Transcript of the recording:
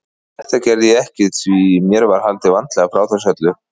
En þetta gerði ég ekki því mér var haldið vandlega frá þessu öllu.